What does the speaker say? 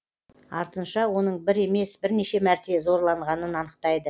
артынша оның бір емес бірнеше мәрте зорланғанын анықтайды